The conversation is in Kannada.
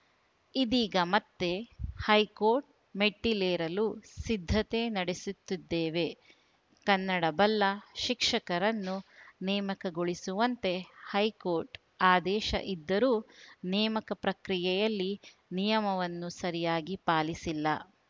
ಇದೀಗ ಮತ್ತೆ ಹೈಕೋರ್ಟ್‌ ಮೆಟ್ಟಿಲೇರಲು ಸಿದ್ಧತೆ ನಡೆಸುತ್ತಿದ್ದೇವೆ ಕನ್ನಡ ಬಲ್ಲ ಶಿಕ್ಷಕರನ್ನು ನೇಮಕಗೊಳಿಸುವಂತೆ ಹೈಕೋರ್ಟ್‌ ಆದೇಶ ಇದ್ದರೂ ನೇಮಕ ಪ್ರಕ್ರಿಯೆಯಲ್ಲಿ ನಿಯಮವನ್ನು ಸರಿಯಾಗಿ ಪಾಲಿಸಿಲ್ಲ